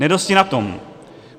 Nedosti na tom.